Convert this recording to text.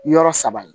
Yɔrɔ saba ye